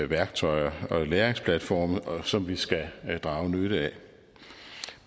værktøjer og læringsplatforme som vi skal drage nytte af